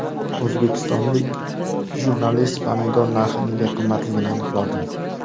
O‘zbekistonlik jurnalist pomidor narxi nega qimmatligini aniqladi.